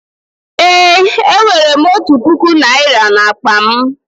Eé, enwere m otu puku naịra n'akpa m.